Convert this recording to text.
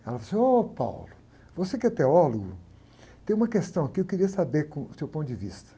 Ela falou assim, ô, você que é teólogo, tem uma questão aqui, eu queria saber, o seu ponto de vista.